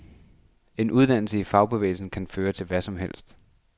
En uddannelse i fagbevægelsen kan føre til hvad som helst.